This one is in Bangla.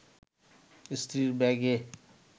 স্ত্রীর ব্যাগে